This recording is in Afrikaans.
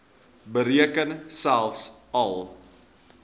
beteken selfs al